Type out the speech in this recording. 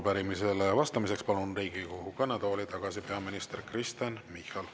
Arupärimisele vastamiseks palun Riigikogu kõnetooli tagasi peaminister Kristen Michali.